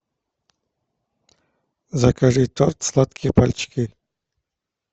закажи торт сладкие пальчики